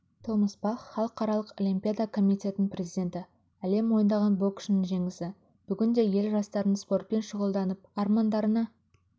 томас бах халықаралық олимпиада комитетінің президенті әлем мойындаған боксшының жеңісі бүгінде ел жастарының спортпен шұғылданып армандарына